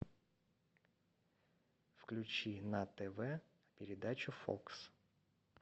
включи на тв передачу фокс